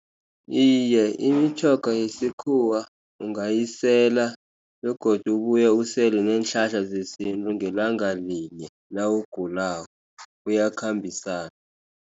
Iye, imitjhoga yesikhuwa ungayisela, begodu ubuye usele neenhlahla zesintu ngelanga linye nawugulako iyakhambisana.